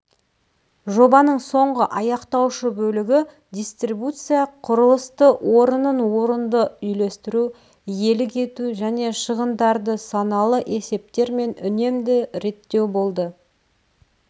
жобаның соңғы аяқтаушы бөлігі дистрибуция құрылысты орынын орынды үлестіру иелік ету және шығындарды саналы есептермен үнемді реттеу болды